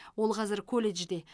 ол қазір колледжде